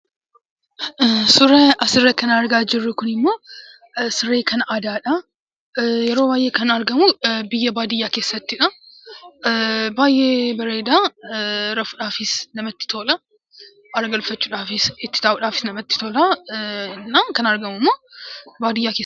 Suuraa asirratti argaa jirru Kun immoo, siree kan aadaadha. Yeroo baayyee kan argamu biyya baadiyyaa keessattidha. Baayyee bareeda, rafuudhaafis namatti tolaa, haara galfachuudhaafis, itti taa'uudhaafis namatti tolaa. Kan argamu immoo baadiyyaa keessattidha.